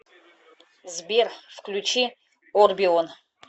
сбер включи орбион